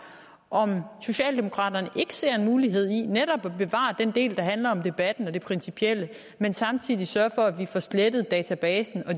om socialdemokraterne ikke ser en mulighed i netop at bevare den del der handler om debatten og det principielle men samtidig sørge for at vi får slettet databasen